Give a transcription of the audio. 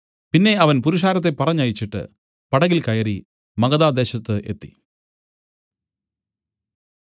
പിന്നെ അവൻ പുരുഷാരത്തെ പറഞ്ഞയച്ചിട്ട് പടകിൽ കയറി മഗദാ ദേശത്തു എത്തി